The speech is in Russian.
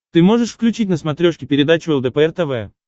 ты можешь включить на смотрешке передачу лдпр тв